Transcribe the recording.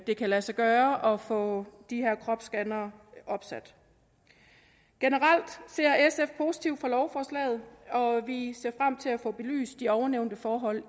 det kan lade sig gøre at få de her kropsscannere opsat generelt ser sf positivt på lovforslaget og vi ser frem til at få belyst de ovennævnte forhold